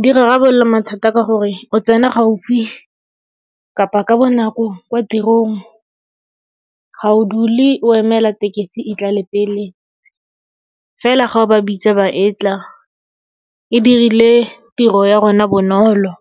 Di rarabolola mathata ka gore o tsena gaufi kapa ka bonako kwa tirong. Ga o dule o emela tekesi e tlale pele, fela ga ba bitsa ba etla. E dirile tiro ya rona bonolo